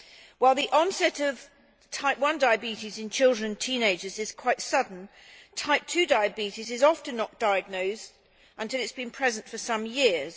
While the onset of Type I diabetes in children and teenagers is quite sudden, Type 2 diabetes is often not diagnosed until it has been present for some years.